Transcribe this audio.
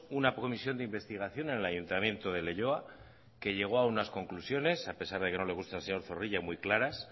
una comisión de investigación en el ayuntamiento de leioa que llegó a unas conclusiones pesar de que no le gustan al señor zorrilla muy claras